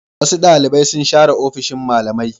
Wasu ɗalibai sun share ofishin malamai.